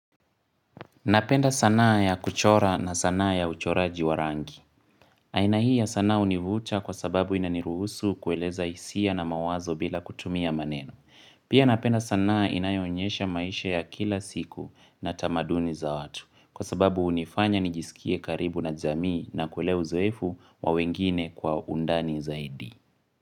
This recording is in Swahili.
Napenda sanaa ya kuchora na sanaa ya uchoraji wa rangi. Aina hi isanaa hunivuta kwa sababu inaniruhusu kueleza hisia na mawazo bila kutumia maneno. Pia napenda sanaa inayoonyesha maisha ya kila siku na tamaduni za watu. Kwa sababu unifanya nijisikie karibu na jamii na kuelewa uzoifu wa wengine kwa undani zaidi.